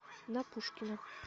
на пушкина